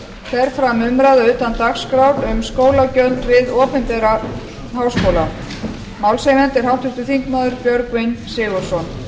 fer fram umræða utan dagskrár um skólagjöld við opinbera háskóla málshefjandi er háttvirtir þingmenn björgvin g sigurðsson